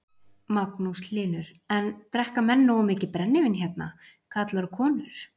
Magnús Hlynur: En drekka menn nógu mikið brennivín hérna, karlar og konur?